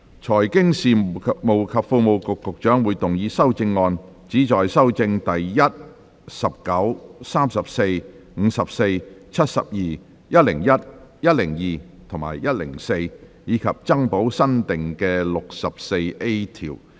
財經事務及庫務局局長會動議修正案，旨在修正第1、19、34、54、72、101、102及104條，以及增補新訂的第 64A 條。